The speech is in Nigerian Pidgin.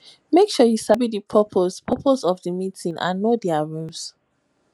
make sure say you sabi di purpose purpose of di meeting and know their rules